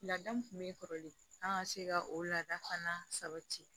Lada min kun be kɔrɔlen an ŋa se ka o laada fana sabati